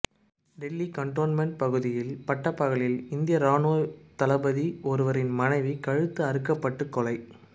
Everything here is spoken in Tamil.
டெல்லி கண்டோன்மென்ட் பகுதியில் பட்டப்பகலில் இந்திய ராணுவ தளபதி ஒருவரின் மனைவி கழுத்து அறுக்கப்பட்டு கொலை